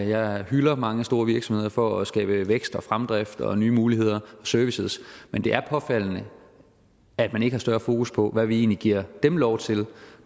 jeg hylder mange store virksomheder for at skabe vækst og fremdrift og nye muligheder servicer men det er påfaldende at man ikke har større fokus på hvad vi egentlig giver dem lov til